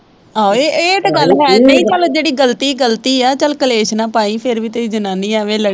ਆਹੋ ਇਹ ਇਹ ਤਾਂ ਗੱਲ ਹੈ ਨਹੀਂ ਚੱਲ ਜਿਹੜੀ ਗਲਤੀ, ਗਲਤੀ ਐ ਚੱਲ ਕਲੇਸ਼ ਨਾ ਪਾਈ, ਫਿਰ ਵੀ ਤੇਰੀ ਜਨਾਨੀ ਆ ਇਵੇਂ।